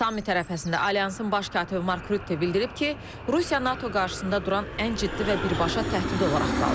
Sammit ərəfəsində alyansın baş katibi Mark Rütte bildirib ki, Rusiya NATO qarşısında duran ən ciddi və birbaşa təhdid olaraq qalır.